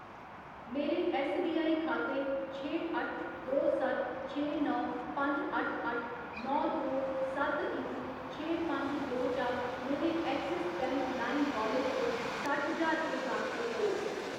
मेरे ऐस्सबीआई खाते छे अट्ठ दो सत्त छे नौ पंज अट्ठ अट्ठ नौ दो सत्त इक छे पंज दो चा मेरे एक्सिस बैंक लाइम वालेट च सट्ठ ज्हार रपेऽ ट्रांसफर करो।